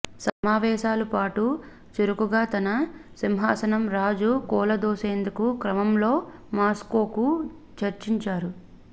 సమావేశాలు పాటు చురుకుగా తన సింహాసనం రాజు కూలదోసేందుకు క్రమంలో మాస్కోకు చర్చించారు